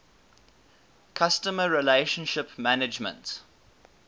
customer relationship management